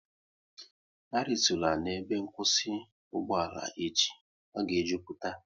A ritula n'ebe nkwụsị ugboala echi, ọ ga e jupụta!